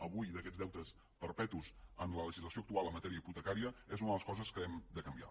avui aquests deutes perpetus en la legislació actual en matèria hipotecària és una de les coses que hem de canviar